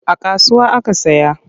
A kasuwa aka saya.